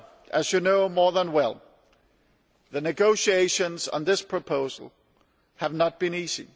As you know only too well, the negotiations on this proposal have not been easy.